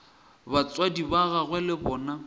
batswadi ba gagwe le bona